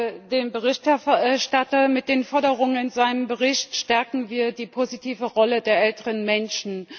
Auch ich danke dem Berichterstatter. Mit den Forderungen in seinem Bericht stärken wir die positive Rolle der älteren Menschen.